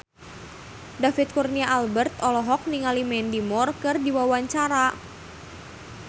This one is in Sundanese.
David Kurnia Albert olohok ningali Mandy Moore keur diwawancara